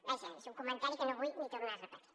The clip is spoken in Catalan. vaja és un comentari que no vull ni tornar a repetir